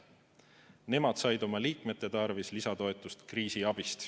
Nemad said oma liikmete tarvis lisatoetust kriisiabist.